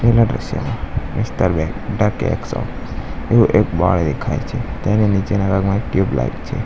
આપેલા દૃશ્યમાં mister bake the cake shop એવું એક બોર્ડ દેખાય છે તેની નીચેના ભાગમાં એક ટ્યુબલાઈટ છે.